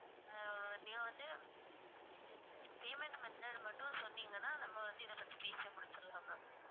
ஆஹ் இனி வந்து payment method மட்டும் சொன்னீங்கன்னா நம்ம வந்து இதைப்பத்தி பேசி முடிச்சரலாம் ma'am